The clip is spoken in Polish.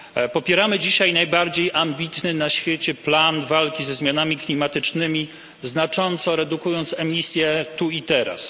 Popieramy dzisiaj najbardziej ambitny na świecie plan walki ze zmianami klimatycznymi, znacząco redukując emisje tu i teraz.